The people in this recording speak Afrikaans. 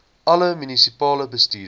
alle munisipale bestuurders